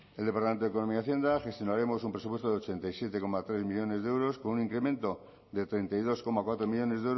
en el departamento de economía y hacienda gestionaremos un presupuesto de ochenta y siete coma tres millónes de euros con un incremento de treinta y dos coma cuatro millónes